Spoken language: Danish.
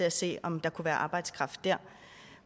at se om der kunne være arbejdskraft dér